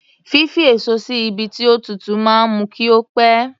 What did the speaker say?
Fífi èso sí ibi tí ó tútù máa ń mú kí ó pẹ̀.